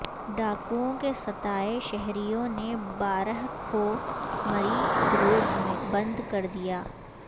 ڈاکوئوں کے ستائے شہریوں نے بھارہ کہو مری روڈ بند کردیا